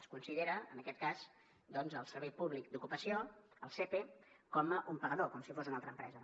es considera en aquest cas el servei públic d’ocupació el sepe com un pagador com si fos una altra empresa